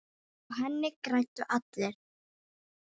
Á henni græddu allir.